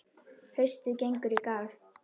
Haustið gengur í garð.